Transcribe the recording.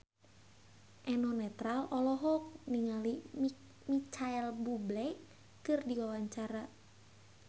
Eno Netral olohok ningali Micheal Bubble keur diwawancara